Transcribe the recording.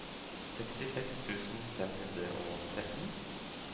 sekstiseks tusen fem hundre og tretten